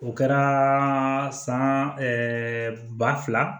O kɛra san ɛɛ ba fila